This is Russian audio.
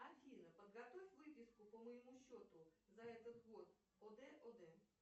афина подготовь выписку по моему счету за этот год од од